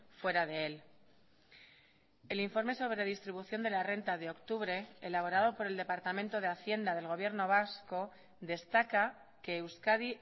fuera de él el informe sobre distribución de la renta de octubre elaborado por el departamento de hacienda del gobierno vasco destaca que euskadi